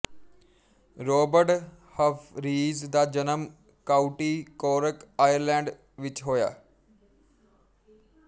robot Humphreys ਦਾ ਜਨਮ county Cork Ireland ਵਿੱਚ ਹੋਇਆ